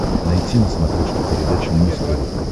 найти на смотрешке передачу муз тв